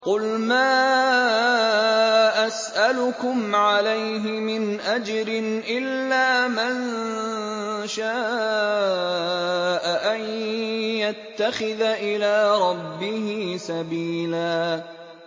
قُلْ مَا أَسْأَلُكُمْ عَلَيْهِ مِنْ أَجْرٍ إِلَّا مَن شَاءَ أَن يَتَّخِذَ إِلَىٰ رَبِّهِ سَبِيلًا